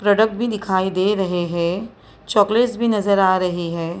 Product भी दिखाई दे रहे हैं चॉकलेट्स भी नजर आ रही है।